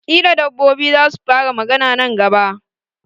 Kila dabbobi zasu fara magana nan gaba.